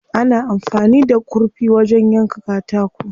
Ana amfani da kurfi wajen yanka katako.